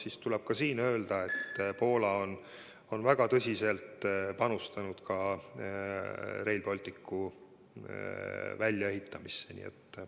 Ja tuleb öelda sedagi, et Poola on väga tõsiselt panustanud ka Rail Balticu väljaehitamisse.